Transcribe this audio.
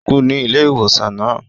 O dákú ní ilé ìwòsàn náà